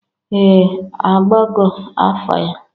Ee! Agbago afa ya.